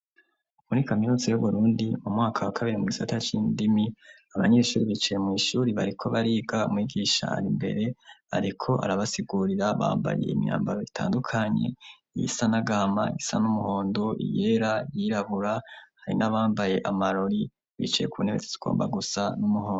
Muri kaminuza y'Uburundi mu mwaka wa kabiri mu gisata c'indimi, abanyeshuri bicaye mw'ishuri bariko bariga umwigisha ari imbere ariko arabasigurira bambaye imyambaro itandukanye, iyisa n'agahama, iyisa n'umuhondo, iyera, iyirabura, hari n'abambaye amarori bicaye ku ntebe igomba gusa n'umuhondo.